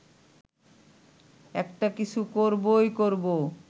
একটা কিছু করবই করব